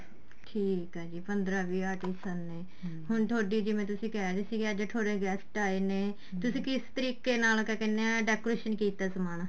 ਠੀਕ ਏ ਜੀ ਪੰਦਰਾਂ ਵੀਹ artist ਨੇ ਹੁਣ ਤੁਹਾਡੀ ਜਿਵੇਂ ਤੁਸੀਂ ਕਹਿ ਰਹੇ ਸੀ ਅੱਜ ਤੁਹਾਡੇ guest ਆਏ ਨੇ ਤੁਸੀਂ ਕਿਸ ਤਰੀਕੇ ਨਾਲ ਕਿਹਾ ਕਹਿਣੇ ਹਾਂ decoration ਕੀਤਾ ਏ ਸਮਾਨ